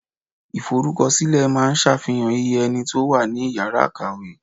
Iforukosile máa ń safihan iye ẹni tó wà ní Ìyàrá kàwé.